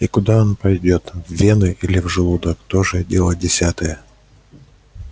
и куда он пойдёт в вены или в желудок тоже дело десятое